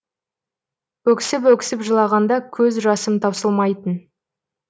өксіп өксіп жылағанда көз жасым таусылмайтын